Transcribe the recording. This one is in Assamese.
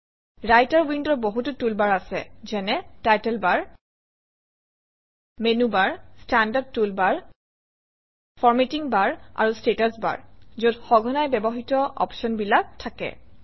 ৰাইটাৰ উইণ্ডৰ বহুতো টুল বাৰ আছে যেনে title bar menu bar standard toolbar formatting bar আৰু ষ্টেটাচ বাৰ যত সঘনাই ব্যৱহৃত অপশ্যনবিলাক থাকে